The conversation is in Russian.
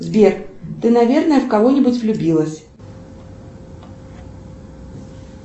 сбер ты наверное в кого нибудь влюбилась